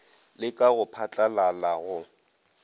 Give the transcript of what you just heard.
le ka go phatlalala go